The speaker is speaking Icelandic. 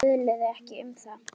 Töluðu ekki um það.